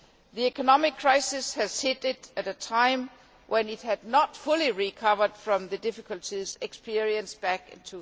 The economic crisis hit it at a time when it had not fully recovered from the difficulties experienced back in